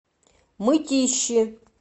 мытищи